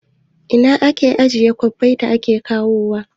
A ina ake ajiye kwabbai da ake kawo wa?